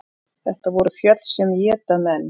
Þetta voru fjöll sem éta menn.